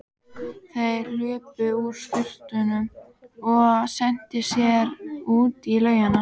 Þeir hlupu úr sturtunum og hentu sér út í laugina.